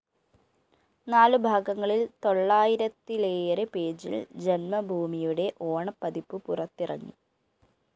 നാലുഭാഗങ്ങളില്‍ തൊള്ളായിരത്തിലേറെ പേജില്‍ ജന്മഭൂമിയുടെ ഓണപ്പതിപ്പ് പുറത്തിറങ്ങി